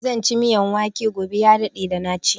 Zan ci miyan wake gobe, ya daɗe da na ci.